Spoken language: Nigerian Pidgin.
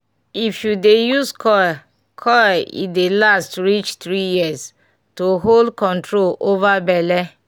if u dey use coil coil e dey last reach 3yrs - to hold control over belle.